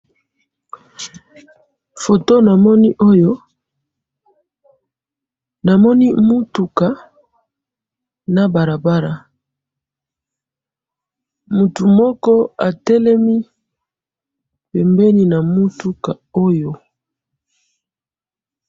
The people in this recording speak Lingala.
Foto namoni oyo ,namoni mutuka na balabala mutu moko atelemi pembeni na mutuka oyo .